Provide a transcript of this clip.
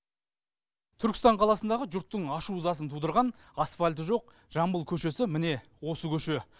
түркістан қаласындағы жұрттың ашу ызасын тудырған асфальті жоқ жамбыл көшесі міне осы көше